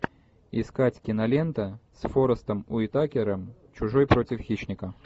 искать кинолента с форестом уитакером чужой против хищника